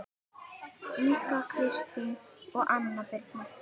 Inga Kristín og Anna Birna